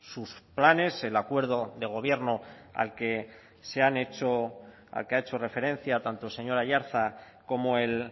sus planes el acuerdo de gobierno al que ha hecho referencia tanto el señor aiartza como el